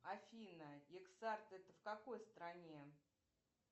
афина ексард это в какой стране